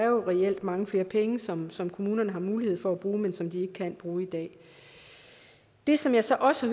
jo reelt er mange flere penge som som kommunerne har mulighed for at bruge men som de ikke kan bruge i dag det som jeg så også